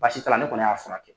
Baasi t'a ne kɔni y'a furakɛ.